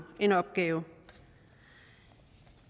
en opgave